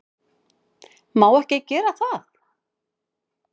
Má ekki gera það.